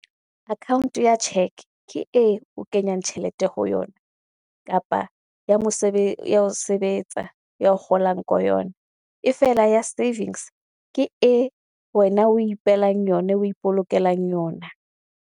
Account ya cheque ke e o kenyang tjhelete ho yona, kapa ya ho sebetsa ye o kgolang ko yona. E fela ya savings ke e wena we ipehelang yona we ipolokelang yona.